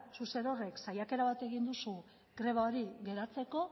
zuk zerorrek saiakera bat egin duzu greba hori geratzeko